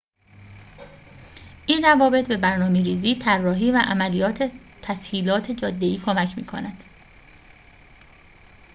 این روابط به برنامه‌ریزی طراحی و عملیات تسهیلات جاده‌ای کمک می‌کند